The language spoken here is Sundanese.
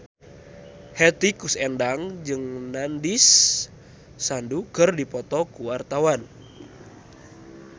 Hetty Koes Endang jeung Nandish Sandhu keur dipoto ku wartawan